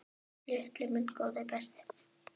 Lilli minn, góði besti.